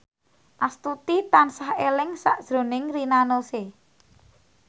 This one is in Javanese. Astuti tansah eling sakjroning Rina Nose